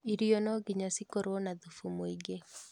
Irio no nginya cikorũo na thubu mũĩngĩ